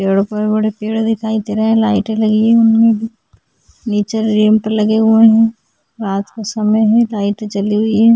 पेड़ो पर बड़े पेड़ दिखाई दे रहे है लाइटे लगी हुई है नीचे रैंप लगे हुए है रात का समय है लाइटे जली हुई है ।